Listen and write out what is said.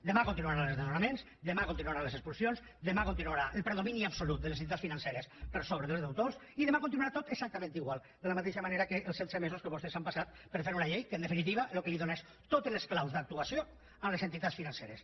demà continuaran els desnonaments demà continuaran les expulsions demà continuarà el predomini absolut de les entitats financeres per sobre dels deutors i demà continuarà tot exactament igual de la mateixa manera que els setze mesos que vostès s’han passat per fer una llei que en definitiva el que dóna és totes les claus d’actuació a les entitats financeres